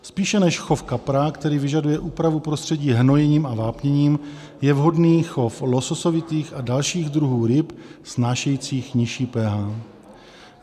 Spíše než chov kapra, který vyžaduje úpravu prostředí hnojením a vápněním, je vhodný chov lososovitých a dalších druhů ryb snášejících nižší pH.